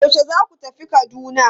Yaushe zaku tafi Kaduna?